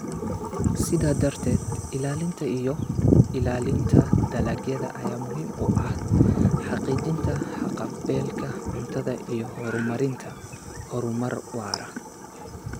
Sidaa darteed, ilaalinta iyo ilaalinta dalagyada ayaa muhiim u ah xaqiijinta haqab-beelka cuntada iyo horumarinta horumar waara.